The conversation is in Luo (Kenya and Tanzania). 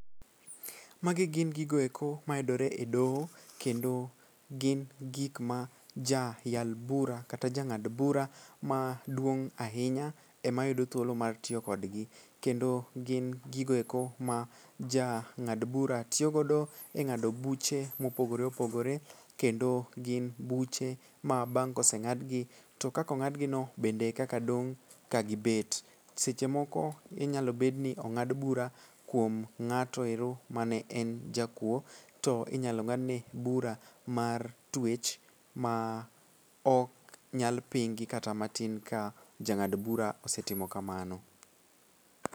Magi gin gigoeko mayudore e doho kendo gin gikma jayal bura kata jang'ad bura maduong' ahinya emayudo thuolo mar tiyo kodgi. Kendo gin gigoeko ma jang'ad bura tiyogodo e ng'ado buche mopogore opogore kendo gin buche ma bang' koseng'adgi to kakong'adgino bende e kaka dong' kagibet. Seche moko inyalo bedni ong'ad bura kuom ng'ato ero mane en jakuo to inyalo ng'adne bura mar twech maok nyal pingi kata matin ka jang'ad bura osetimo kamano